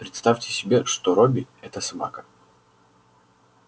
представь себе что робби это собака